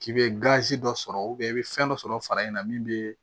K'i bɛ gazi dɔ sɔrɔ i bɛ fɛn dɔ sɔrɔ fara in na min bɛ